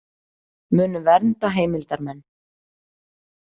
Munu vernda heimildarmenn